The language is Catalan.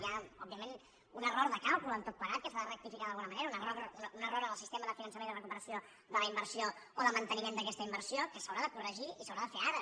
hi ha òbviament un error de càlcul en tot plegat que s’ha de rectificar d’alguna manera un error en el sistema de finançament i recuperació de la inversió o del manteniment d’aquesta inversió que s’haurà de corregir i s’haurà de fer ara